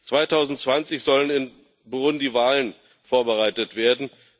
2020 sollen in Burundi Wahlen vorbereitet werden.